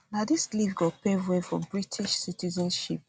na dis leave go pave way for british for british citizenship